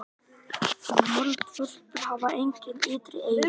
Moldvörpur hafa engin ytri eyru.